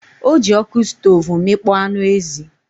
Ọ ji ọkụ stov mịkpọ anụ ezi.